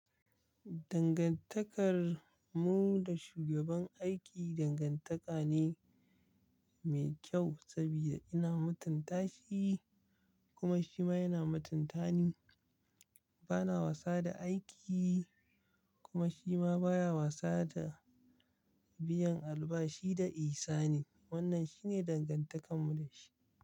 Dangantakarmu da shugaban aiki dangantaka ne mai kyau saboda ina matunta shi kuma shi ma yana mutunta ni. Bana wasa da aiki kuma shi ma baya wasa da biyan albashi da ihsani. Wannan shine dangantakar mu dashi.